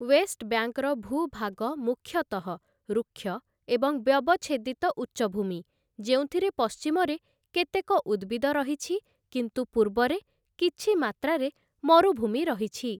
Waste ବ୍ୟାଙ୍କର ଭୂଭାଗ ମୁଖ୍ୟତଃ ରୁକ୍ଷ ଏବଂ ବ୍ୟବଚ୍ଛେଦିତ ଉଚ୍ଚଭୂମି, ଯେଉଁଥିରେ ପଶ୍ଚିମରେ କେତେକ ଉଦ୍ଭିଦ ରହିଛି, କିନ୍ତୁ ପୂର୍ବରେ କିଛି ମାତ୍ରାରେ ମରୁଭୂମି ରହିଛି ।